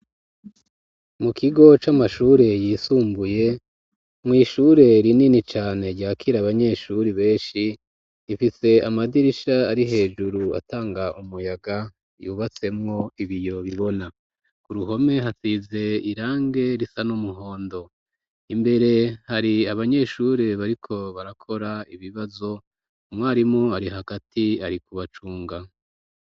Mu kigo c'amashure yisumbuye mw'ishure rinini cane ryakira abanyeshuri benshi rifise amadirisha ari hejuru atanga umuyaga yubatsemwo ibiyo bibona ku ruhome hasize irange risa n'umuhondo imbere hari abanyeshure bariko barakora ibibazo umwarimu ari hagati ari kubacunga.